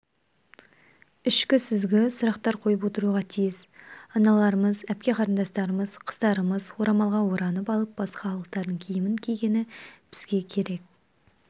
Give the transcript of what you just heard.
ішкі сүзгі сұрақтар қойып отыруға тиіс аналарымыз әпке-қарындастарымыз қыздарымыз орамалға оранып алып басқа халықтардың киімін кигені бізге керек